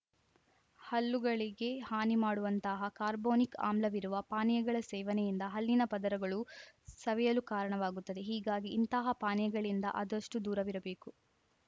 ಹಲ್ಲುಗಳಿಗೆ ಹಾನಿ ಮಾಡುವಂತಹ ಕಾರ್ಬೋನಿಕ್‌ ಆಮ್ಲವಿರುವ ಪಾನೀಯಗಳ ಸೇವನೆಯಿಂದ ಹಲ್ಲಿನ ಪದರಗಳು ಸವೆಯಲು ಕಾರಣವಾಗುತ್ತದೆ ಹೀಗಾಗಿ ಇಂತಹ ಪಾನೀಯಗಳಿಂದ ಆದಷ್ಟುದೂರವಿರಬೇಕು